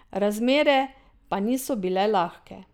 Razmere pa niso bile lahke.